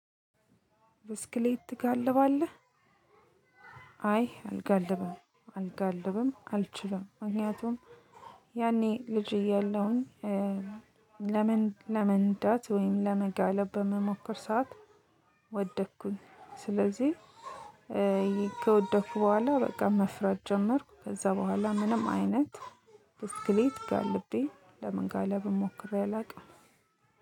ብስክሌት ትጋልባለህ? አይ አልጋልብም። አልጋልብም አልችልም ምክንያቱም ያኔ ልጅ እያለሁኝ እ ለምን ለመንዳት ወይም ለመጋለብ በመሞከር ሰዓት ወደኩኝ። ስለዚህ እ ከወደኩ በኋላ በቃ መፍራት ጀመርኩ። ከዛ በኋላ ምንም አይነት ብስክሌት ጋልቤ ለመጋለብም ሞክሬ አላውቅም።